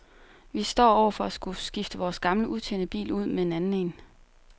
Vi står over for at skulle skifte vores gamle udtjente bil ud med en anden en.